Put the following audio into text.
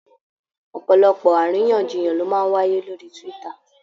Ọ̀pọ̀lọpọ̀ àríyànjiyàn ló máa ń wáyé lórí Twitter.